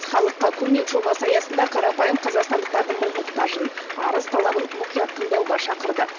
халыққа көмек жобасы аясында қарапайым қазақстандықтардың мың мұқтажын арыс талабын мұқият тыңдауға шақырды